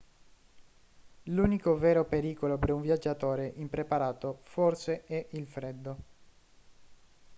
l'unico vero pericolo per un viaggiatore impreparato forse è il freddo